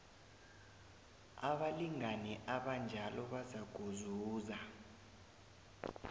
abalingani abanjalo bazakuzuza